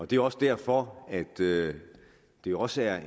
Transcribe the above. det er også derfor at det det også er